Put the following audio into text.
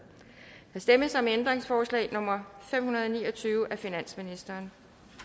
der stemmes om ændringsforslag nummer fem hundrede og ni og tyve af finansministeren